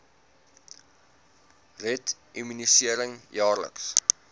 red immunisering jaarliks